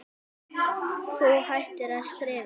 Þú hættir að skrifa.